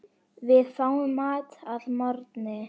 Við fáum mat að morgni.